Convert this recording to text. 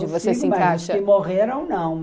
Eu consigo, mas os que morreram, não.